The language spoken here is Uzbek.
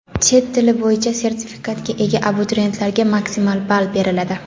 Chet tili bo‘yicha sertifikatga ega abituriyentlarga maksimal ball beriladi.